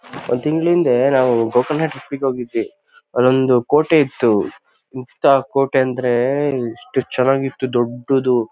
ಒಂದ್ ತಿಂಗಳ್ ಹಿಂದೆ ನಾವು ಗೋಕರ್ಣ ಟ್ರಿಪ್ ಗೆ ಹೋಗಿದ್ವಿ. ಅಲ್ಲೊಂದು ಕೋಟೆ ಇತ್ತು ಎಂತಾ ಕೋಟೆ ಅಂದ್ರೆ ಎಷ್ಟು ಚೆನ್ನಾಗಿತ್ತು ದೊಡ್ದು .